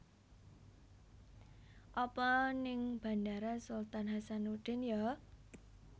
Apa ning Bandara Sultan Hassanudin yo?